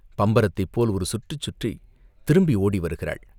பம்பரத்தைப் போல் ஒரு சுற்றுச்சுற்றித் திரும்பி ஓடி வருகிறாள்.